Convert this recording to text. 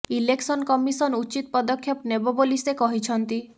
election commission ଉଚିତ ପଦକ୍ଷେପ ନେବେ ବୋଲି ସେ କହିଛନ୍ତି